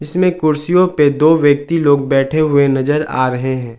इसमें कुर्सियों पे दो व्यक्ति लोग बैठे हुए नजर आ रहे है।